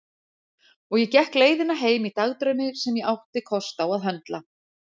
Og ég gekk leiðina heim í dagdraumi sem ég átti kost á að höndla.